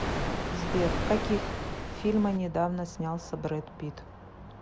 сбер в каких фильма недавно снялся бред питт